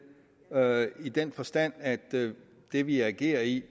i den forstand at det det vi agerer i